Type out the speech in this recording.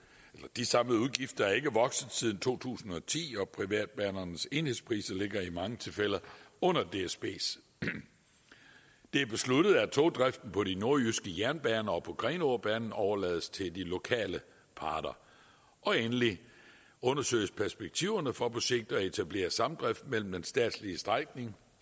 de samlede udgifter er ikke vokset siden to tusind og ti og privatbanernes enhedspriser ligger i mange tilfælde under dsbs det er besluttet at togdriften på de nordjyske jernbaner og på grenaabanen overlades til de lokale parter og endelig undersøges perspektiverne for på sigt at etablere samdrift mellem den statslige strækning